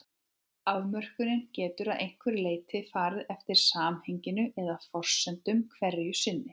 Afmörkunin getur að einhverju leyti farið eftir samhenginu eða forsendum hverju sinni.